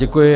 Děkuji.